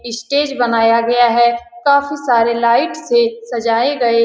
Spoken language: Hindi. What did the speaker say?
स्टेज बनाया गया है काफी सारे लाइट से सजाएं --